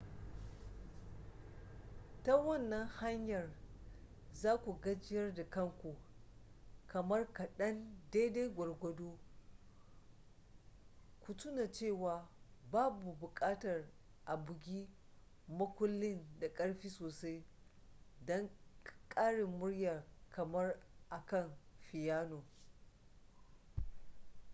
ta wannan hanyar za ku gajiyar da kanku kamar kaɗan daidai gwargwado ku tuna cewa babu buƙatar a bugi makullin da ƙarfi sosai don ƙarin murya kamar akan fiyano